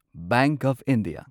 bank of India